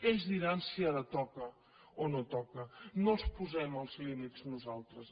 ells diran si ara toca o no toca no els posem els límits nosaltres